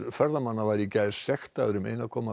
ferðamanna var í gær sektaður um ein komma